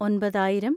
ഒമ്പതിനായിരം